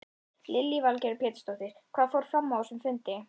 Lillý Valgerður Pétursdóttir: Hvað fór fram á þessum fundi?